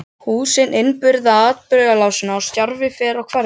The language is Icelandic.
Húsin innbyrða atburðarásina og stjarfi fer á hverfið.